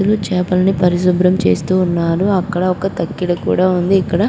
ఇద్దరు చేపలను పరిశుభ్రం చేస్తూ ఉన్నారు. అక్కడ ఒక తక్కెడ కూడా ఉంది. ఇక్కడ --